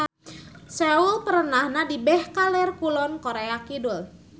Seoul perenahna di beh kaler kulon Korea Kidul.